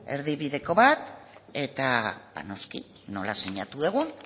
erdibideko bat eta noski nola sinatu dugun